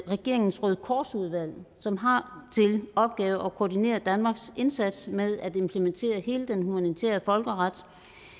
i regeringens røde kors udvalg som har til opgave at koordinere danmarks indsats med at implementere hele den humanitære folkeret